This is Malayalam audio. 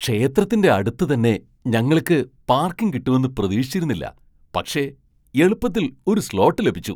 ക്ഷേത്രത്തിന്റെ അടുത്ത് തന്നെ ഞങ്ങള്ക്ക് പാർക്കിംഗ് കിട്ടുമെന്ന് പ്രതീക്ഷിച്ചിരുന്നില്ല, പക്ഷേ എളുപ്പത്തിൽ ഒരു സ്ലോട്ട് ലഭിച്ചു.